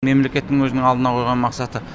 мемлекеттің өзінің алдына қойған мақсаты